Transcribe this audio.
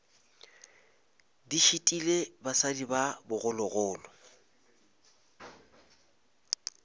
di šitile basadi ba bogologolo